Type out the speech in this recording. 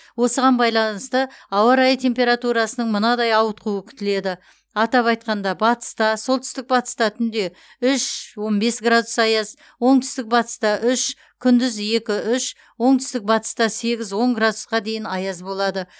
осыған байланысты ауа райы температурасының мынадай ауытқуы күтіледі атап айтқанда батыста солтүстік батыста түнде үш он бес градус аяз оңтүстік батыста үш күндіз екі үш оңтүстік батыста сегіз он градусқа дейін аяз болады